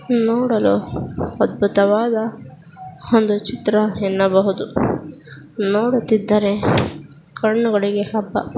ನೋಡಲು ಅಧ್ಬುತವಾದ ಒಂದು ಚಿತ್ರ ಎನ್ನಬಹುದು. ನೋಡುತಿದ್ದರೆ ಕಾಣ್ಣುಗಳಿಗೆ ಹಬ್ಬ.